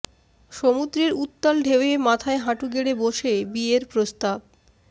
সমুদ্রের উত্তাল ঢেউয়ের মাথায় হাঁটু গেড়ে বসে বিয়ের প্রস্তাব